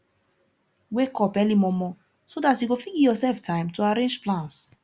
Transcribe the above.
wake up early momo so dat you go fit giv urself time to arrange plans